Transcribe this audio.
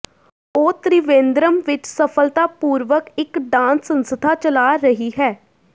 ਉਹ ਤ੍ਰਿਵੇਂਦਰਮ ਵਿੱਚ ਸਫਲਤਾਪੂਰਵਕ ਇੱਕ ਡਾਂਸ ਸੰਸਥਾ ਚਲਾ ਰਹੀ ਹੈ